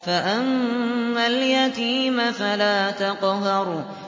فَأَمَّا الْيَتِيمَ فَلَا تَقْهَرْ